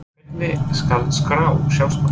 Hvernig skal skrá sjálfsmörk?